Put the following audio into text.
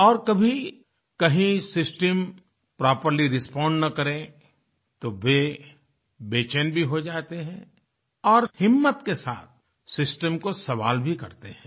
और कभी कहीं सिस्टमproperly रिस्पोंड ना करें तो वे बैचेन भी हो जाते हैं और हिम्मत के साथसिस्टम को सवाल भी करते हैं